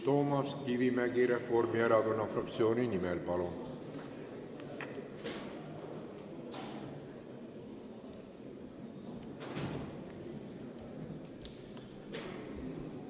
Toomas Kivimägi Reformierakonna fraktsiooni nimel, palun!